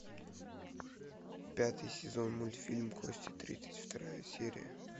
пятый сезон мультфильм кости тридцать вторая серия